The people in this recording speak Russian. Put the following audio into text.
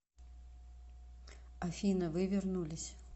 афина вы вернулись